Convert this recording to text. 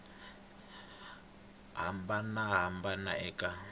lemuka mimbangu yo hambanahambana eka